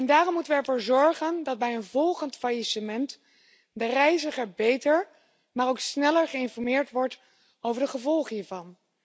Daarom moeten we ervoor zorgen dat bij een volgend faillissement de reiziger beter, maar ook sneller geïnformeerd wordt over de gevolgen hiervan.